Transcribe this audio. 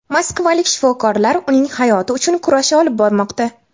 Moskvalik shifokorlar uning hayoti uchun kurash olib bormoqda.